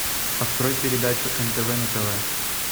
открой передачу нтв на тв